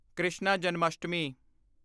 Krishna Janmashtami